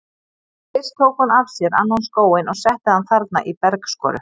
En fyrst tók hún af sér annan skóinn og setti hann þarna í bergskoru.